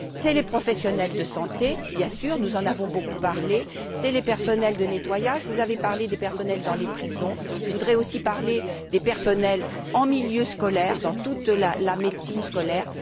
Ce sont les professionnels de santé, bien sûr nous en avons beaucoup parlé ce sont les personnels de nettoyage vous avez parlé des personnels dans les prisons je voudrais aussi parler des personnels en milieu scolaire, dans toute la médicine scolaire.